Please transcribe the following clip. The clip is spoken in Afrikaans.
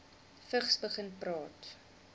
vigs begin praat